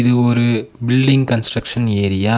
இது ஒரு building construction area.